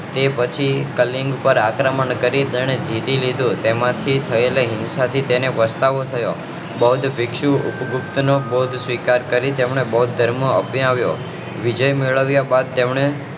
તે પછી કલ્કી પર આક્રમણ કરી એને જીતી લીધું તેમજ તેના થી થયેલા હિંસા થી પછતાવો થયો બૌધ